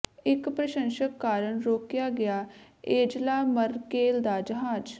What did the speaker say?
ਇਕ ਪ੍ਰਸ਼ੰਸਕ ਕਾਰਨ ਰੋਕਿਆ ਗਿਆ ਐਂਜਲਾ ਮਰਕੇਲ ਦਾ ਜਹਾਜ਼